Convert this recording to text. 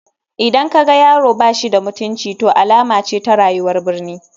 Idan ka ga yaro ba shi da mutunci to alama ce ta rayuwar birni.